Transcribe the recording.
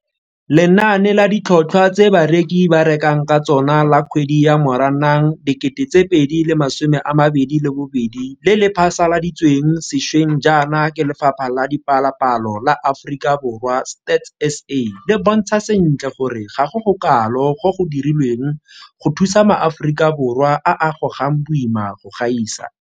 Lenane la Ditlhotlhwa tse Bareki ba Rekang ka Tsona la Kgwedi ya Moranang 2022 le le phasaladitsweng sešweng jaana ke Lefapha la Dipalopalo la Aforika Borwa Stats SA le bontsha sentle gore ga go gokalo go go dirilweng go thusa maAforika Borwa a a gogang boima go gaisa.